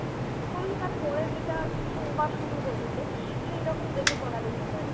তাহলে তার পরে যেটা সোমবার শুরু হচ্ছে সেইরকম দেখে করা যেতে পারে